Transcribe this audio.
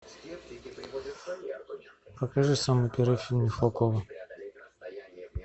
покажи самый первый фильм михалкова